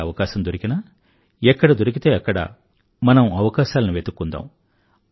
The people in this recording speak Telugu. ఎక్కడ అవకాశం దొరికినా ఎక్కడ దొరికితే అక్కడ మనం అవకాశాలని వెతుక్కుందాం